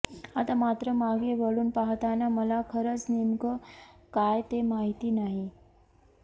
आता मात्र मागे वळून पाहताना मला खरच नेमकं काय ते माहिती नाही